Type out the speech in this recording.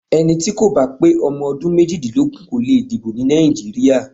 Ẹni tí kò bá pé ọmọ ọdún méjìdínlógún kò le dìbò ní Nàìjíríà.